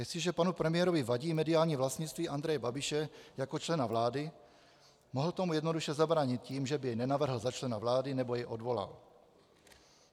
Jestliže panu premiérovi vadí mediální vlastnictví Andreje Babiše jako člena vlády, mohl tomu jednoduše zabránit tím, že by jej nenavrhl za člena vlády nebo jej odvolal.